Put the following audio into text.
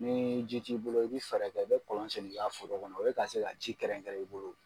Ni ji ti bolo i bɛ fɛɛrɛ kɛ ka kɔlɔn sen i ka foro kɔnɔ o ye ka se ka ji kɛrɛnkɛrɛn i bolo.